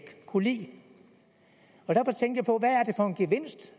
kunne lide derfor tænkte